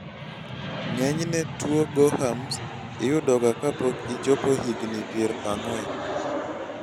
ng'enyne tuwo gorham's iyudoga kapok ichopo higni pier ang'wen